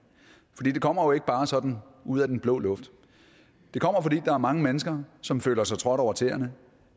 kommer jo ikke bare sådan ud af den blå luft det kommer fordi der er mange mennesker som føler sig trådt over tæerne